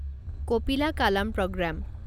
Kapila Kalam programme